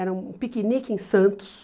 Era um piquenique em Santos.